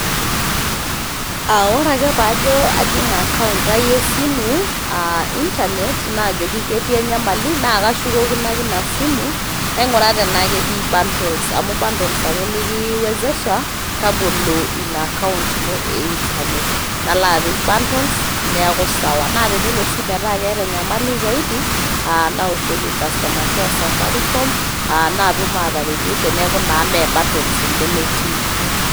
Aa ore ake pajo ajing account ai esimu aa [cs[ internet najoki ketii enyamali naa kashukokino ake ina simu nainguraa tenaa ketii bundles. amu bundles ake likiwezesha tabolo ina account ino e internet